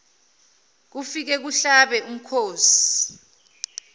kufike kuhlabe umkhosi